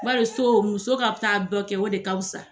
Bari fɔ muso ka taa dɔ kɛ, o de ka fisa !